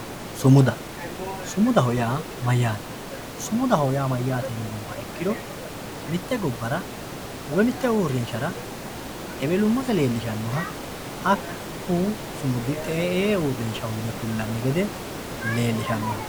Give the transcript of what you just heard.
Sumudda, sumudaho yaa mayate sumudaho yaa mayate yinumoha ikkiro mite gobbarra woyi mite uurinsharra ewellumasse leellishanoha haku sumudi te'ee uurrinshaho yine kulani gede leelishano